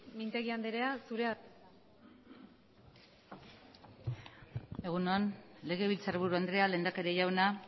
mintegi anderea zurea da hitza egun on legebiltzarburu andrea lehendakari jauna